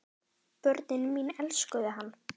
Börnin mín elskuðu hann.